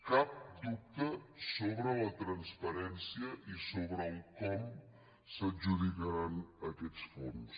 cap dubte sobre la transparència i sobre com s’adjudicaran aquests fons